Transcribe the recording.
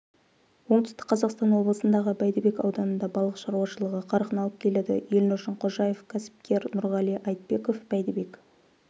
оңтүстік қазақстан облысындағы бәйдібек ауданында балық шаруашылығы қарқын алып келеді елнұр шыңқожаев кәсіпкер нұрғали айтбеков бәйдібек